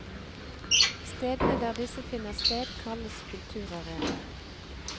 Stedene der disse finner sted kalles kulturarenaer.